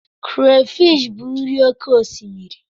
Krafish bụ nri oké osimiri.